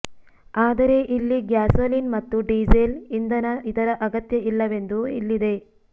ಆದರೆ ಇಲ್ಲಿ ಗ್ಯಾಸೋಲಿನ್ ಮತ್ತು ಡೀಸೆಲ್ ಇಂಧನ ಇದರ ಅಗತ್ಯ ಇಲ್ಲವೆಂದು ಇಲ್ಲಿದೆ